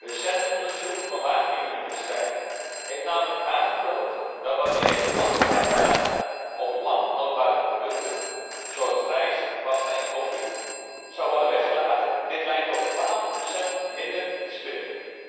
Recent onderzoek van Wageningen Universiteit heeft namelijk aangetoond dat wanneer houdbaarheidsdata op lang houdbare producten zoals rijst, pasta en koffie zouden worden weggelaten, dit leidt tot 12 minder verspilling.